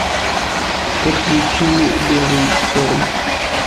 подключи белый шторм